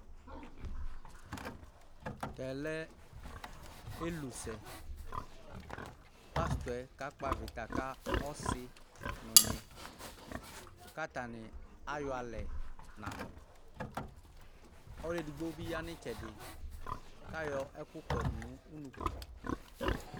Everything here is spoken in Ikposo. Tɛ lɛ elusɛ Pastɔ ka kpɔ aʋɩta ka ɔsɩ ŋʊ ɩɣŋɩ kataŋɩ aƴɔ alɛ ŋaŋʊ Ɔlʊ edigbo bivƴa ŋʊ ɩtsɛdɩ ka ƴɔ ɛƙʊ ƙɔdʊ ŋʊ ʊŋʊƙʊ